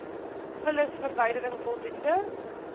vullisverwyderin voldoende g